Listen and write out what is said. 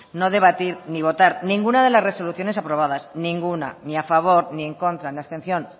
no debatir ni votar ninguna de las resoluciones aprobadas ninguna ni a favor ni en contra ni abstención